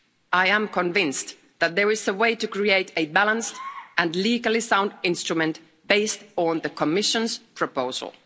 I am convinced that there is a way to create a balanced and legally sound instrument based on the Commission's proposal.